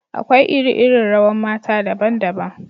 Akwai iri-iri rawan mata daban-daban.